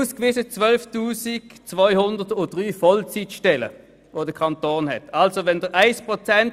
Die 12 203 Vollzeitstellen des Kantons werden in diesem Papier aufgeführt.